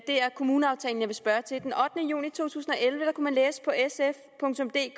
kommuneaftalen jeg vil spørge til den ottende juni to tusind og elleve kunne man